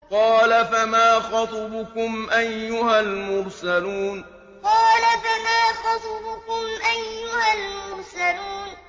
۞ قَالَ فَمَا خَطْبُكُمْ أَيُّهَا الْمُرْسَلُونَ ۞ قَالَ فَمَا خَطْبُكُمْ أَيُّهَا الْمُرْسَلُونَ